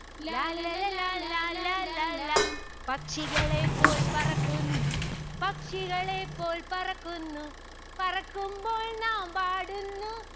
ലാല്ലല ലാലാ ലാലാ ലാ. പക്ഷികളെ പോൽ പറക്കുന്നു പക്ഷികളെ പോൽ പറക്കുന്നു. പറക്കുമ്പോൾ നാം പാടുന്നു